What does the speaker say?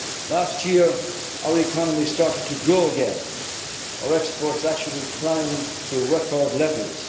analyses. Last year our economy started to grow again, our exports actually climbed to record